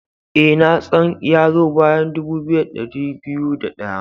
Ee, na tsan ya zo bayan dubu biyu da dari biyu da daya.